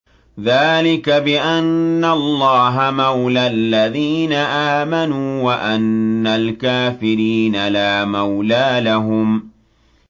ذَٰلِكَ بِأَنَّ اللَّهَ مَوْلَى الَّذِينَ آمَنُوا وَأَنَّ الْكَافِرِينَ لَا مَوْلَىٰ لَهُمْ